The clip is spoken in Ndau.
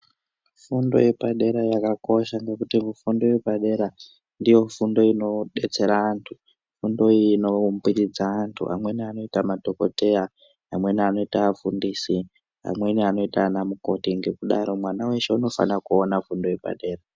Fundo yepadera yakakosha ngekuti mufundo yepadera ndiyo fundo inodetsera antu fundo inoumbiridza antu amweni anoita madhokodheya amweni anoita afundisi amweni anoita anamukoti ngekudaro mwana weshe unofana kuona fundo yepadera.